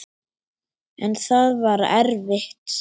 En það var erfitt.